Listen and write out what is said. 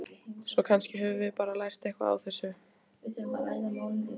Svo kannski höfum við bara lært eitthvað á þessu.